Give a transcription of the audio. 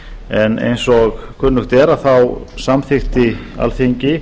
en eins og kunnugt er samþykkti alþingi